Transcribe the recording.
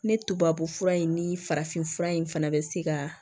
Ne tubabufura in ni farafinfura in fana bɛ se ka